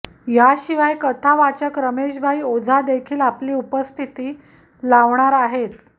याशिवाय कथा वाचक रमेश भाई ओझा देखील आपली उपस्थिती लावणार आहेत